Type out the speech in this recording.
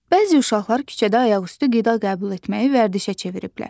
Bəzi uşaqlar küçədə ayaqüstü qida qəbul etməyi vərdişə çeviriblər.